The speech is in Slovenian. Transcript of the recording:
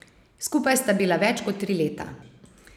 Skupaj sta bila več kot tri leta.